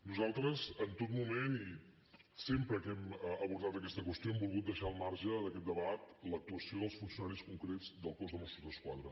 nosaltres en tot moment i sempre que hem abordat aquesta qüestió hem volgut deixar al marge d’aquest debat l’actuació dels funcionaris concrets del cos de mossos d’esquadra